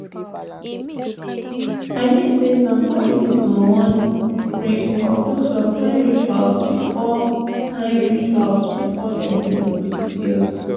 i mean say some families go wan pause pray or do some kain rituals before kain rituals before dem do the procedures.